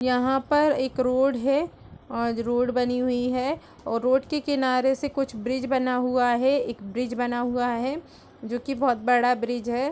यहाँ पर एक रोड है और रोड बनी हुई है और रोड के किनारे से कुछ ब्रिज़ बना हुआ है। एक ब्रिज़ बना हुआ है जो कि बहोत बड़ा ब्रिज़ है।